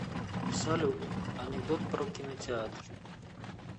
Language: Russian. салют анекдот про кинотеатр